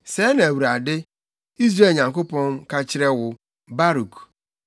“Sɛɛ na Awurade, Israel Nyankopɔn, ka kyerɛ wo, Baruk: